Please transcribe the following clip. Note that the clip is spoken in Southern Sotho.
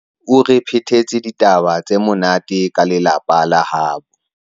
o re phetetse ditaba tse monate ka lelapa la habo